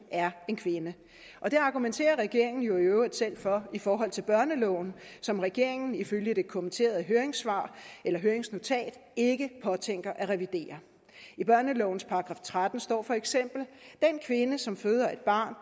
er en kvinde det argumenterer regeringen jo i øvrigt selv for i forhold til børneloven som regeringen ifølge det kommenterede høringsnotat ikke påtænker at revidere i børnelovens § tretten står feks den kvinde som føder et barn